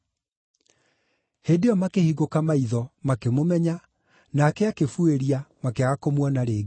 Hĩndĩ ĩyo makĩhingũka maitho, makĩmũmenya, nake akĩbuĩria, makĩaga kũmuona rĩngĩ.